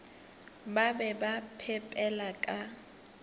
ba be ba phepela ka